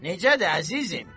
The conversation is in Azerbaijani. Necədir, əzizim?